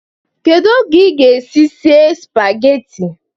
Kedu oge ị ga-esi esi spageti?